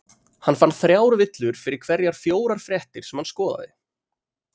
hann fann þrjár villur fyrir hverjar fjórar fréttir sem hann skoðaði